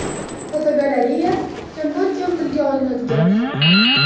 Fotogalereya: Kamdan kam tilga olinadigan xalqlar.